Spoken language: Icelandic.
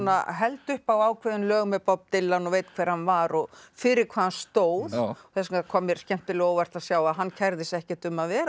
held upp á ákveðin lög með Bob Dylan og veit hver hann var og fyrir hvað hann stóð þess vegna kom mér skemmtilega á óvart að hann kærði sig ekkert um að vera